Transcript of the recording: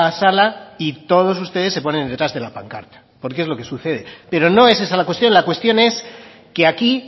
sala y todos ustedes se ponen detrás de la pancarta porque es lo que sucede pero no es esa la cuestión la cuestión es que aquí